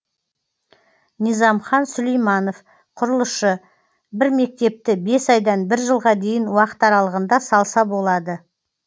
низамхан сүлейманов құрылысшы бір мектепті бес айдан бір жылға дейін уақыт аралығында салса болады